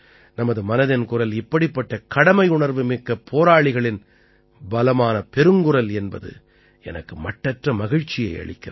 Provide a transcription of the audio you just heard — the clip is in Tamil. நமது மனதின் குரல் இப்படிப்பட்ட கடமையுணர்வு மிக்க போராளிகளின் பலமான பெருங்குரல் என்பது எனக்கு மட்டற்ற மகிழ்ச்சியை அளிக்கிறது